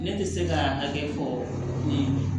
Ne tɛ se ka hakɛ fɔ nin ye